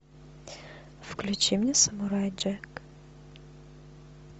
включи мне самурай джек